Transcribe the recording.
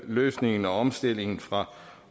løsningen og omstillingen fra